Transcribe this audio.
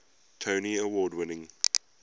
tony award winning